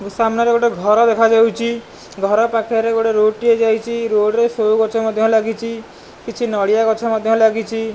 ସାମ୍ନାରେ ଗୋଟେ ଘର ଦେଖାଯାଉଚି ଘର ପାଖରେ ଗୋଟେ ରୋଡ଼ ଟିଏ ଯାଇଚି ରୋଡ଼ ରେ ସୋ ଗଛ ମଧ୍ୟ ଲାଗିଚି କିଛି ନଡ଼ିଆ ଗଛ ମଧ୍ୟ ଲାଗିଚି।